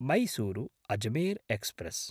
मैसूरु–अजमेर् express